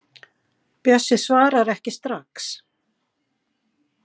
Bjössi svarar ekki strax.